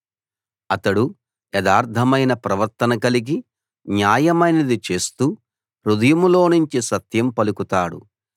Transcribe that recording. అతడు యథార్థమైన ప్రవర్తన కలిగి న్యాయమైనది చేస్తూ హృదయంలోనుంచి సత్యం పలుకుతాడు